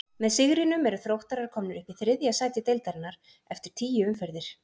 Með sigrinum eru Þróttarar komnir upp í þriðja sæti deildarinnar eftir tíu umferðir.